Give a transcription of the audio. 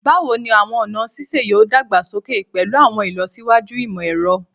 Bawo ni awọn ọna sise yoo dagbasoke pẹlu awọn ilọsiwaju imọ-ẹrọ?